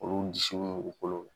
Olu u bolo